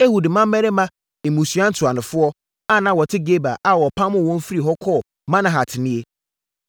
Ehud mmammarima, mmusua ntuanofoɔ, a na wɔte Geba a wɔpamoo wɔn firii hɔ kɔɔ Manahat nie: